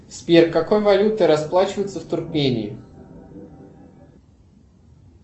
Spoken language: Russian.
сбер какой валютой расплачиваются в туркмении